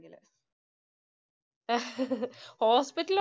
ഹോസ്പിറ്റലില്